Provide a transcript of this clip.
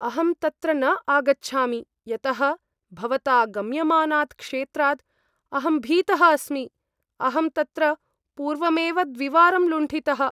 अहं तत्र न आगच्छामि यतः भवता गम्यमानात् क्षेत्राद् अहं भीतः अस्मि। अहं तत्र पूर्वमेव द्विवारं लुण्ठितः।